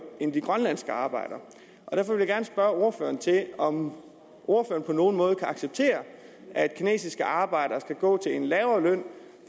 end de grønlandske arbejdere derfor vil jeg gerne spørge ordføreren om ordføreren på nogen måde kan acceptere at kinesiske arbejdere skal gå til en lavere løn